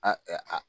A a